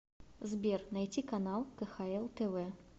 сбер найти канал кхл тв